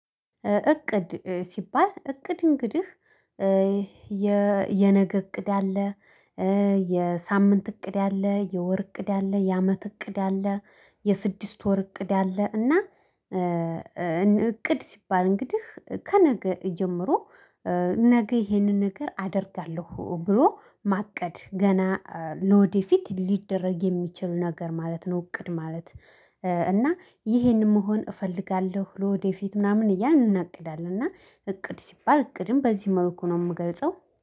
እቅድ ሲባል እቅድ እንግዲህ የነገ እቅድ አለ የሳምንት እቅድ አለ የወር እቅድ አለ የአመት እቅድ አለ የስድስት ወር እቅድ አለ እና እቅድ ሲባል እንግዲህ ከነገ ጀምሮ ነገ ይሄንን ነገር አደርጋለሁ ብሎ ማቀድ ገና ለወደፊት ሊደረግ የሚችል ነገር ማለት ነው። እቅድ ማለት። እና ይሄንን መሆን እፈልጋለሁ ለወደፊት ምናምን እያልን እናቅዳለን። እና እቅድ ሲባል እቅድም በዚህ መልኩ ነው የምገልጸው